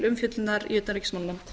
umfjöllunar í utanríkismálanefnd